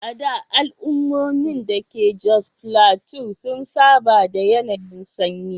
A da, al’ummomin da ke Jos Plateau sun saba da yanayin sanyi.